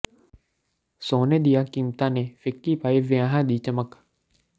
ਸੋਨੇ ਦੀਆਂ ਕੀਮਤਾਂ ਨੇ ਫਿੱਕੀ ਪਾਈ ਵਿਆਹਾਂ ਦੀ ਚਮਕ